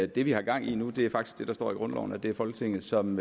det vi har gang i nu er faktisk det der står i grundloven nemlig at det er folketinget som